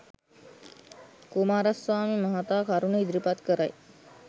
කුමාරස්වාමි මහතා කරුණු ඉදිරිපත් කරයි